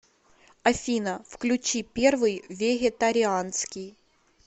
афина включи первый вегетарианский